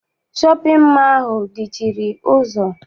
Shọpịn mọọ ahụ dị chịrị ụzọ.